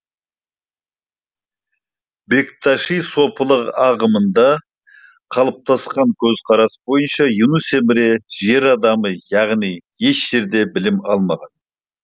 бекташи сопылық ағымында қалыптасқан көзқарас бойынша юнус эмре жер адамы яғни еш жерде білім алмаған